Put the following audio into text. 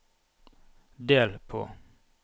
del på